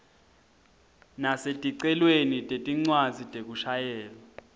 naseticelweni tetincwadzi tekushayela